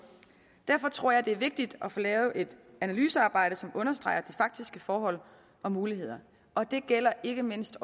derfor tror jeg det er vigtigt at få lavet et analysearbejde som understreger de faktiske forhold og muligheder og det gælder ikke mindst